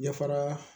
Ɲɛ fara